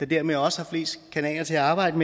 dermed også har flest kanaler til at arbejde